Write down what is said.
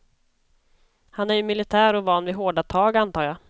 Han är ju militär och van vid hårda tag, antar jag.